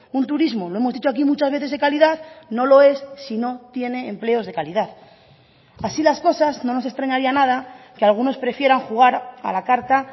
un turismo lo hemos dicho aquí muchas veces de calidad no lo es si no tiene empleos de calidad así las cosas no nos extrañaría nada que algunos prefieran jugar a la carta